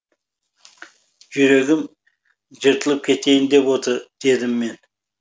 жүрегім жыртылып кетейін деп отыр дедім мен